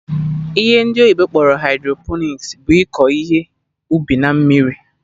Ihe ndị oyibo kpọrọ hydroponics bụ iko ihe ubi na mmiri